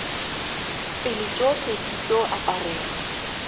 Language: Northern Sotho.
pele tšohle di tlo aparelwa